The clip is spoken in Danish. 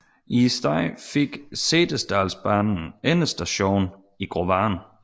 I stedet fik Setesdalsbanen endestation i Grovane